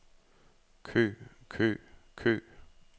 kø kø kø